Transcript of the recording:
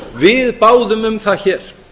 við báðum um það hér